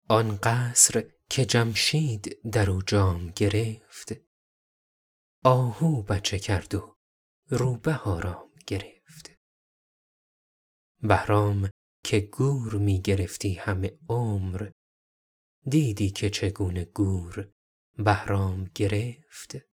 آن قصر که جمشید در او جام گرفت آهو بچه کرد و روبه آرام گرفت بهرام که گور می گرفتی همه عمر دیدی که چگونه گور بهرام گرفت